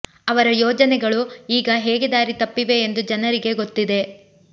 ಅವರ ಯೋಜನೆಗಳು ಈಗ ಹೇಗೆ ದಾರಿ ತಪ್ಪಿವೆ ಎಂದು ಜನರಿಗೆ ಗೊತ್ತಿದೆ